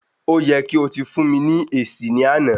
O yẹ kí o tí fún ní esi lánàá